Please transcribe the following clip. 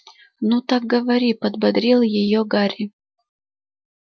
но так говори подбодрил её гарри